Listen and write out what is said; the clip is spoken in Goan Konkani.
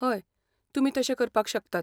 हय, तुमी तशें करपाक शकतात.